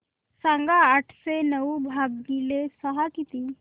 सांगा आठशे नऊ भागीले सहा किती